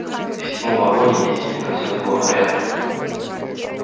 и в седьмом вагоне действительно всё было в порядке